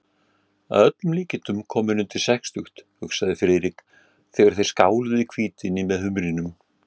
Að öllum líkindum kominn undir sextugt, hugsaði Friðrik, þegar þeir skáluðu í hvítvíni með humrinum.